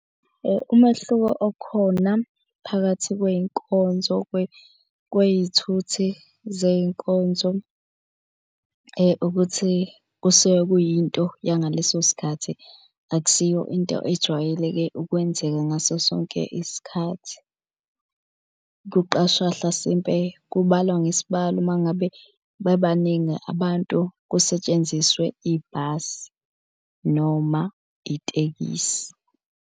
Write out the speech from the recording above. Umehluko okhona phakathi kwey'nkonzo kwey'thuthi zey'nkonzo ukuthi kusuke kuyinto yangaleso sikhathi, akusiyo into ejwayeleke ukwenzeka ngaso sonke isikhathi. Kuqashwa hlasimpe kubalwa ngesibalo uma ngabe bebaningi abantu, kusetshenziswe ibhasi noma itekisi.